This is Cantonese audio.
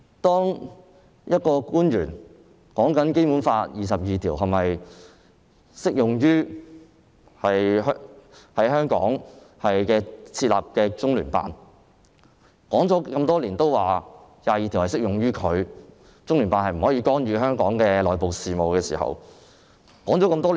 就有官員談《基本法》第二十二條是否適用於在香港設立的中聯辦的問題，政府多年來都表示，第二十二條適用於中聯辦，中聯辦不能干預香港的內部事務。